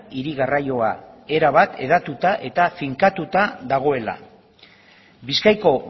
hiri garraioa erabat hedatuta eta finkatuta dagoela bizkaiko